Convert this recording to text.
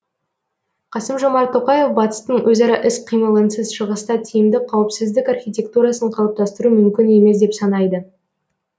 қасым жомарт тоқаев батыстың өзара іс қимылынсыз шығыста тиімді қауіпсіздік архитектурасын қалыптастыру мүмкін емес деп санайды